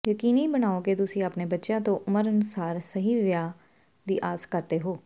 ਯਕੀਨੀ ਬਣਾਓ ਕਿ ਤੁਸੀਂ ਆਪਣੇ ਬੱਚਿਆਂ ਤੋਂ ਉਮਰ ਅਨੁਸਾਰ ਸਹੀ ਵਿਹਾਰ ਦੀ ਆਸ ਕਰਦੇ ਹੋ